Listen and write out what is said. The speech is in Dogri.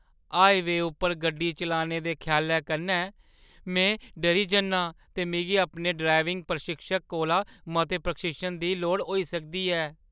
हाईवेंऽ उप्पर गड्डी चलाने दे ख्यालै कन्नै में डरी जन्नां, ते मिगी अपने ड्राइविंग प्रशिक्षक कोला मते प्रशिक्षण दी लोड़ होई सकदी ऐ।